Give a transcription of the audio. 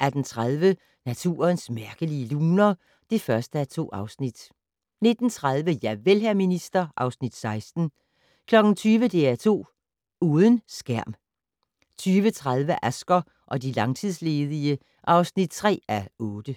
18:30: Naturens mærkelige luner (1:2) 19:30: Javel, hr. minister (Afs. 16) 20:00: DR2 Uden skærm 20:30: Asger og de langtidsledige (3:8)